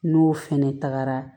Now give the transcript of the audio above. N'o fɛnɛ tagara